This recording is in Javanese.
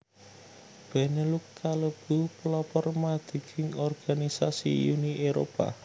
Benelux kalebu pelopor madeging organisasi Uni Éropah